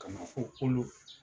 Ka na fo kolo